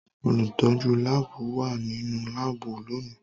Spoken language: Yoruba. Olutọju laabu wa ninu laabu loni.